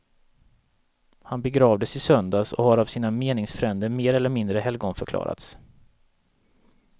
Han begravdes i söndags och har av sina meningsfränder mer eller mindre helgonförklarats.